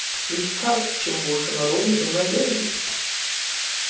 ведь как чем больше народу тем надёжней